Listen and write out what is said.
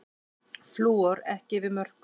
Flúor ekki yfir mörkum